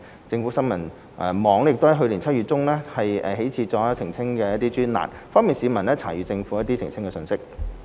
政府新聞網亦自去年7月中起開設了澄清專欄，方便市民查閱政府的澄清信息。